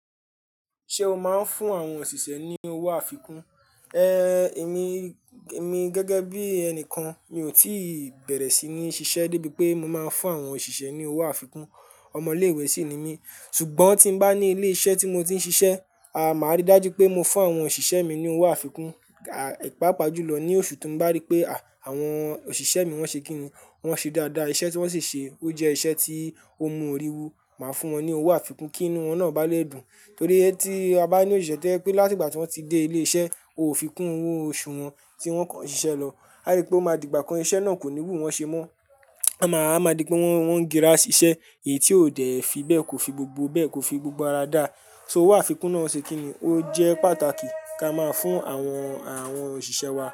Ṣé o máa ń fún àwọn òṣìṣẹ́ ní owó àfikún? Ehn, èmi, èmi gẹ́gẹ́ bí ẹnìkan mi ò tíì bẹ̀rẹ̀ sí ní ṣiṣẹ́ débi pé mo máa ń fún àwọn òṣìṣẹ́ ní owó àfikún. Ọmọ ilé ìwé sí ni mí. Ṣùgbọ́n tí mo bá ní ilé iṣẹ́ tí mo ti ń ṣiṣẹ́, aà, máa rí dájú pé mo fún àwọn òṣìṣẹ́ mi ní owó àfikún, aà, pá pa jùlọ ní oṣù tí mo bá rí pé, à, àwọn òṣìṣẹ́ mi wọ́n ṣe kíni, wọ́n ṣe dáadáa iṣẹ́ tí wọ́n sì ṣe ó jẹ́ iṣẹ́ tí ó mú orí wu, màá fún wọn ní owó àfikún kí inú wọn náà bá lè dùn. Torí tí a bá ní òṣìṣẹ́ tẹ́lẹ̀ pé láti ìgbà tí wọ́n ti dé ilé iṣẹ́, o ò fi kún owó oṣù wọn tí wọ́n kàn ṣiṣẹ́ lọ. A rí pé ó máa di ìgbà kan iṣẹ́ náà kò ní wù wọ́n ṣe mọ́. A máa, a máa di pé wọ́n, wọ́n ń girá ṣiṣẹ́ èyí tí ò dẹ̀ fi bẹ́ẹ̀ kò fi gbogbo bẹ́ẹ̀ kò fi gbogbo ara dá. So owó àfikún náà ṣe kíni, ó jẹ́ pàtàkì kí a máa fún àwọn, àwọn òṣìṣẹ́ wa.